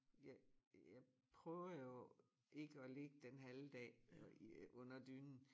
Jeg jeg prøver jo ikke at ligge den halve dag og i øh under dynen